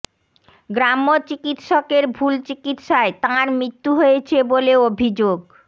গ্রাম্য চিকিৎসকের ভুল চিকিৎসায় তাঁর মৃত্যু হয়েছে বলে অভিযোগ